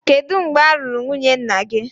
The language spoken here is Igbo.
Kedu mgbe a lụrụ nwunye nna gị?